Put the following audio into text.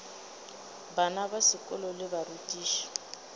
bana ba sekolo le barutiši